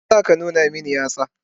Me yasa ka nuna min yatsa?